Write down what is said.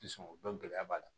Sɔn o dɔn gɛlɛya b'a la